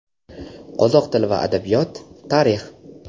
Qozoq tili va adabiyot, Tarix.